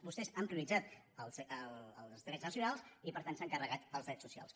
vostès han prioritzat els drets nacionals i per tant s’han carregat els drets socials